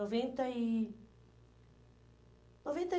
noventa e, noventa